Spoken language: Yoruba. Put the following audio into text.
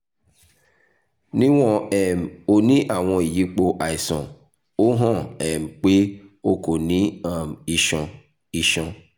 niwon um o ni awọn iyipo aiṣan o han um pe o ko ni um iṣan iṣan